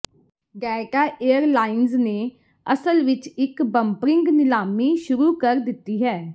Delta airlines ਨੇ ਅਸਲ ਵਿਚ ਇਕ ਬੰਪਰਿੰਗ ਨੀਲਾਮੀ ਸ਼ੁਰੂ ਕਰ ਦਿੱਤੀ ਹੈ